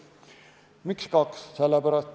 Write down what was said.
Miks kaks?